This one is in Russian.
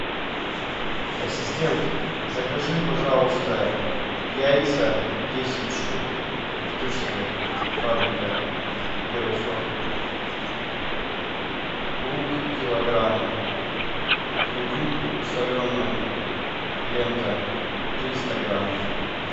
ассистент закажи пожалуйста яйца десять штук иртышская фабрика первый сорт лук килограмм грудинку соленую лента триста грамм